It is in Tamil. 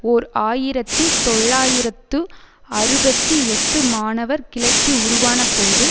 ஓர் ஆயிரத்தி தொள்ளாயிரத்து அறுபத்தி எட்டு மாணவர் கிளர்ச்சி உருவானபோது